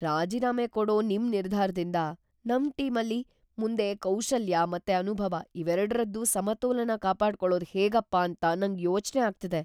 ರಾಜೀನಾಮೆ ಕೊಡೋ ನಿಮ್‌ ನಿರ್ಧಾರದಿಂದ ನಮ್‌ ಟೀಮಲ್ಲಿ ಮುಂದೆ ಕೌಶಲ್ಯ ಮತ್ತೆ ಅನುಭವ ಇವೆರಡ್ರದ್ದೂ ಸಮತೋಲನ ಕಾಪಾಡ್ಕೊಳೋದ್ ಹೇಗಪ್ಪ ಅಂತ ನಂಗ್‌ ಯೋಚ್ನೆ ಆಗ್ತಿದೆ.